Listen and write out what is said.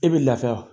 E bi laafiya wa